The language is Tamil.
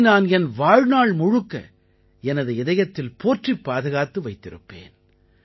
இதை நான் என் வாழ்நாள் முழுக்க எனது இதயத்தில் போற்றிப் பாதுகாத்து வைத்திருப்பேன்